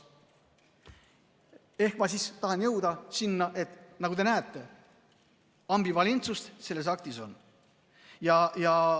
Ehk ma tahan jõuda sinna, et nagu te näete, ambivalentsust selles aktis on.